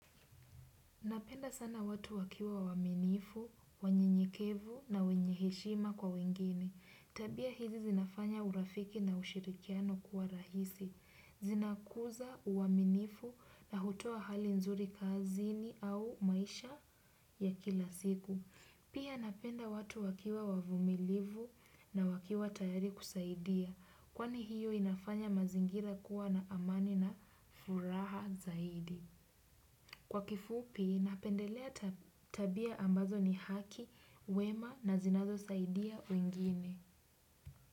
Napenda sana watu wakiwa waminifu, wanyenyekevu na wenye heshima kwa wengine. Tabia hizi zinafanya urafiki na ushirikiano kuwa rahisi. Zinakuza uaminifu na hutoa hali nzuri kazini au maisha ya kila siku. Pia napenda watu wakiwa wavumilivu na wakiwa tayari kusaidia. Kwani hiyo inafanya mazingira kuwa na amani na furaha zaidi. Kwa kifupi, napendelea tabia ambazo ni haki, wema na zinazo saidia wengine.